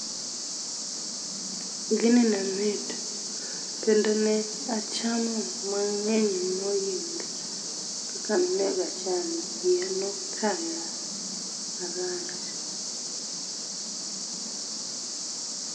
Gini nemit kendo ne achamo mangeny moingo kaka nonego acham, iya nokaya marach